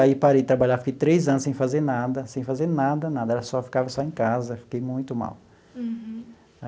Aí parei de trabalhar, fiquei três anos sem fazer nada, sem fazer nada, nada, era só ficava só em casa, fiquei muito mal.